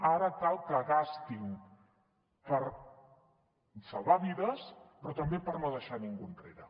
ara cal que gastin per salvar vides però també per no deixar ningú enrere